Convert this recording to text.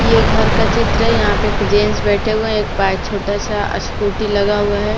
ये घर का चित्र है यहां पे एक जेन्स बैठे हुए हैं एक बाइक छोटा सा स्कूटी लगा हुआ है।